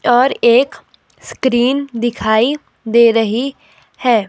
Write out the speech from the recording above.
और एक स्क्रीन दिखाई दे रही है।